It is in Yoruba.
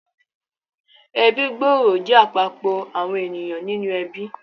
Ẹbí gbòòrò jẹ́ àpapọ̀ àwọn ènìyàn nínú ẹbí